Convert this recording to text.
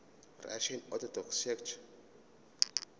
russian orthodox church